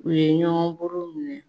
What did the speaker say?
U ye ɲɔgɔn boro minɛ